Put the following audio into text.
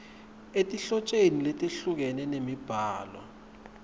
etinhlotjeni letehlukene temibhalo